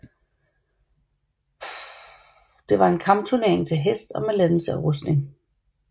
Det var en kampturnering til hest og med lanse og rustning